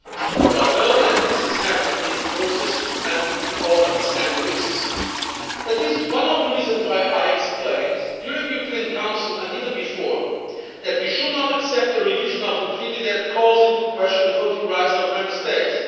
We all know that this is never an easy process, and we all understand the risks. That is one of the reasons why I explained during the European Council and even before that we should not accept a revision of the treaty that calls into question the voting rights of Member States.